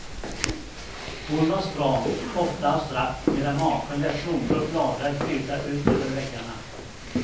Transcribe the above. Hon var stram, ofta abstrakt medan maken lät blommor och bladverk flyta ut över väggarna.